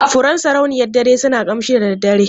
Furen sarauniyar dare suna ƙamshi da daddare.